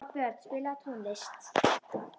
Oddbjörn, spilaðu tónlist.